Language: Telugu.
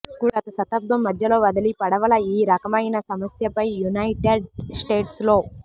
కూడా గత శతాబ్దం మధ్యలో వదలి పడవల ఈ రకమైన సమస్యపై యునైటెడ్ స్టేట్స్ లో